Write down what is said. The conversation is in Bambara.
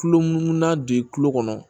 Tulo munun na dilo kɔnɔ